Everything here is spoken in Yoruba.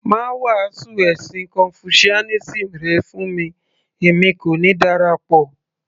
má wàásù ẹ̀sìn confucianism rẹ fún mi èmi kò ní darapọ̀